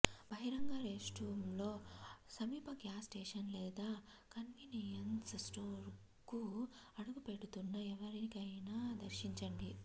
బహిరంగ రెస్ట్రూమ్తో సమీప గ్యాస్ స్టేషన్ లేదా కన్వీనియన్స్ స్టోర్కు అడుగుపెడుతున్న ఎవరినైనా దర్శించండి